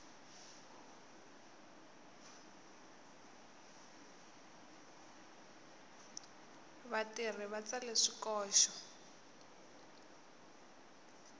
vatirhi va tsale swikoxo